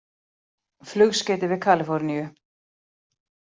Flugskeyti við Kalíforníu